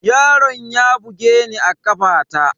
Yaron ya bugeni a kafaɗa